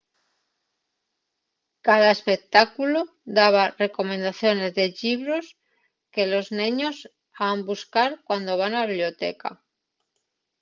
cada espectáculu daba recomendaciones de llibros que los neños han buscar cuando van a la biblioteca